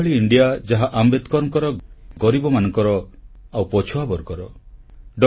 ଏଭଳି ଏକ ଇଣ୍ଡିଆ ଯାହା ଆମ୍ବେଦକରଙ୍କର ଗରିବମାନଙ୍କର ଆଉ ପଛୁଆବର୍ଗର ହୋଇଥିବ